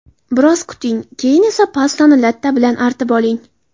Biroz kuting, keyin esa pastani latta bilan artib oling.